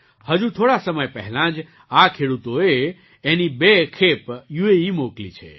હજુ થોડા સમય પહેલાં જઆ ખેડૂતોએ એની બે સામાન ખેપ યુએઇ મોકલી છે